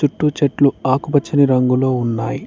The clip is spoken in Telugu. టూ చెట్లు ఆకుపచ్చని రంగులో ఉన్నాయి.